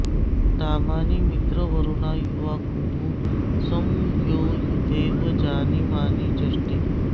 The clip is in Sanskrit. धामा॑नि मित्रावरुणा यु॒वाकुः॒ सं यो यू॒थेव॒ जनि॑मानि॒ चष्टे॑